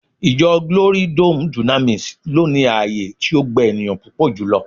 Ijo glory dome dunamis lo ni ààyè ti o gba eniyan pupo julo